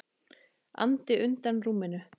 andi undan rúminu.